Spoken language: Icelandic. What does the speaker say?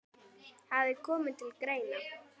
hafi komið til greina.